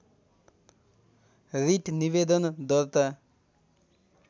writ निवेदन दर्ता